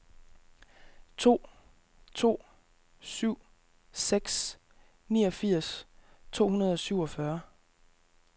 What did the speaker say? to to syv seks niogfirs to hundrede og syvogfyrre